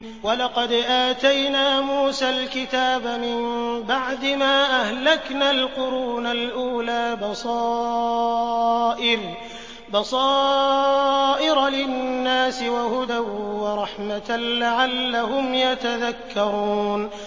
وَلَقَدْ آتَيْنَا مُوسَى الْكِتَابَ مِن بَعْدِ مَا أَهْلَكْنَا الْقُرُونَ الْأُولَىٰ بَصَائِرَ لِلنَّاسِ وَهُدًى وَرَحْمَةً لَّعَلَّهُمْ يَتَذَكَّرُونَ